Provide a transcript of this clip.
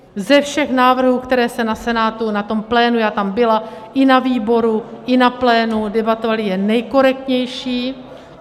Ze všech návrhů, které se na Senátu, na tom plénu, já tam byla, i na výboru, i na plénu debatovaly jen nejkorektnější.